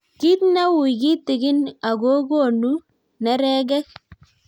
Kit neui kitigin ago gonuu neregeek